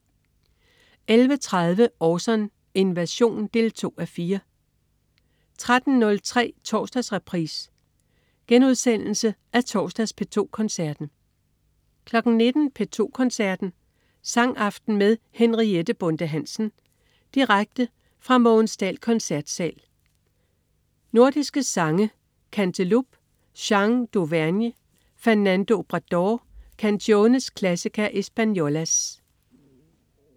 11.30 Orson: Invasion 2:4 13.03 Torsdagsreprise. Genudsendelse af torsdags P2 Koncerten 19.00 P2 Koncerten. Sangaften med Henriette Bonde Hansen. direkte fra Mogens Dahl Koncertsal. Nordiske sange. Canteloube: Chants D'auvergne. Fernando Obradors: Canciones Clasica Espanolas